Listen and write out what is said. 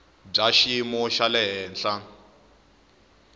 bya xiyimo xa le henhla